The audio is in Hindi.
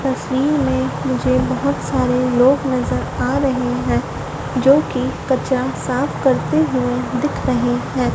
तस्वीर मे मुझे बहोत सारे लोग नज़र आ रहे है जो कि कचरा साफ करते हुए दिख रहे है।